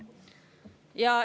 Kolm minutit juurde.